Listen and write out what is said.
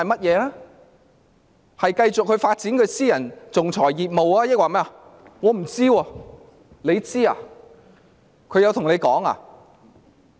是繼續發展她的私人仲裁業務，抑或另有原因？